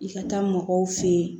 I ka taa mɔgɔw fe yen